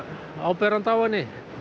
áberandi á henni